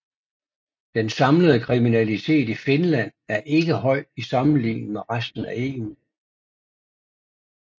Den samlede kriminalitet i Finland er ikke høj i sammenligning med resten af EU